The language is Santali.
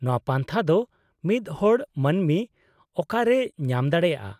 -ᱱᱚᱶᱟ ᱯᱟᱱᱛᱷᱟ ᱫᱚ ᱢᱤᱫ ᱦᱚᱲ ᱢᱟᱹᱱᱢᱤ ᱚᱠᱟᱨᱮᱭ ᱧᱟᱢ ᱫᱟᱲᱮᱭᱟᱜᱼᱟ ?